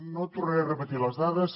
no tornaré a repetir les dades